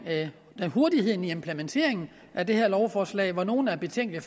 med hurtigheden i implementeringen af det her lovforslag hvor nogle er betænkelige